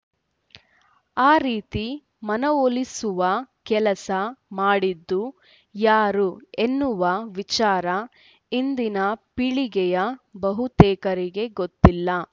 ಆ ರೀತಿ ಮನವೊಲಿಸುವ ಕೆಲಸ ಮಾಡಿದ್ದು ಯಾರು ಎನ್ನುವ ವಿಚಾರ ಇಂದಿನ ಪೀಳಿಗೆಯ ಬಹುತೇಕರಿಗೆ ಗೊತ್ತಿಲ್ಲ